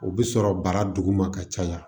O bɛ sɔrɔ bara duguma ka caya